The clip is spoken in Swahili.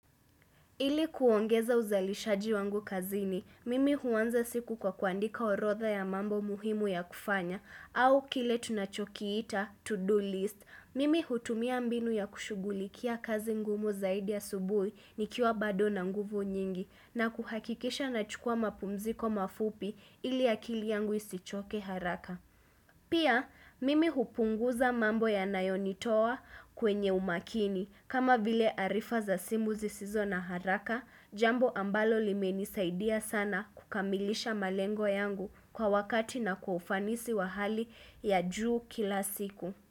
Ili kuongeza uzalishaji wangu kazini, mimi huanza siku kwa kuandika orodha ya mambo muhimu ya kufanya au kile tunachokiita to-do list. Mimi hutumia mbinu ya kushughulikia kazi ngumu zaidi asubuhi nikiwa bado na nguvu nyingi na kuhakikisha nachukua mapumziko mafupi ili akili yangu isichoke haraka. Pia, mimi hupunguza mambo ya nayonitoa kwenye umakini. Kama vile arifa za simu zisizo na haraka, jambo ambalo limenisaidia sana kukamilisha malengo yangu kwa wakati na kwa ufanisi wa hali ya juu kila siku.